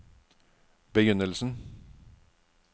begynnelsen